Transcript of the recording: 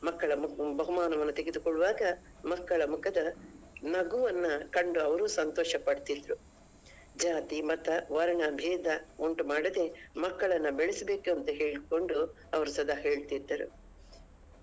ಮಕ್ಕಳ ಮು~ ಬಹುಮಾನವನ್ನ ತೆಗೆದುಕೊಳ್ಳುವಾಗ ಮಕ್ಕಳ ಮುಖದ ನಗುವನ್ನ ಕಂಡು ಅವರು ಸಂತೋಷ ಪಡ್ತಿದ್ರು ಜಾತಿ ಮತ ವರ್ಣ ಭೇದ ಉಂಟು ಮಾಡದೇ ಮಕ್ಕಳನ್ನ ಬೆಳೆಸ್ಬೇಕಂತ ಹೇಳ್ಕೊಂಡು ಅವ್ರು ಸದಾ ಹೇಳ್ತಿದ್ದರು.